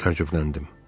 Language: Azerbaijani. Təəccübləndim.